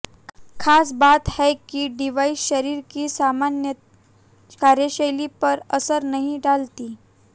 खास बात है कि डिवाइस शरीर की सामान्य कार्यशैली पर असर नहीं डालती